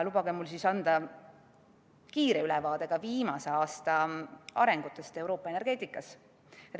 Lubage mul anda kiire ülevaade ka viimase aasta arengusuundadest Euroopa energeetikas.